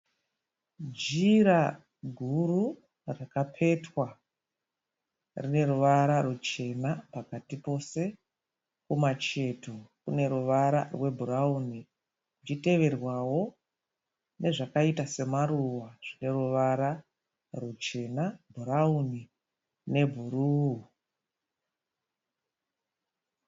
Jira guru rakapetwa. Rine ruvara ruchena pakati pose. Kumacheto kune ruvara rwebhurawuni kuchiteverwawo nezvakaita semaruva zvine ruvara ruchena, bhurawuni nebhuruu.